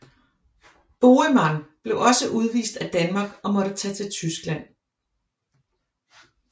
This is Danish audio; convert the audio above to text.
Boheman blev også udvist af Danmark og måtte tage til Tyskland